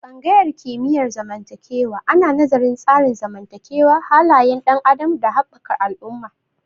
Tsangayar kimiyyar zamantakewa ana nazarin tsarin zamantakewa, halayen ɗan adam, da haɓakar al'umma